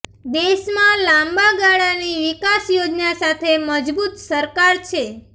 દેશમાં લાંબા ગાળાની વિકાસ યોજના સાથે મજબૂત સરકાર છે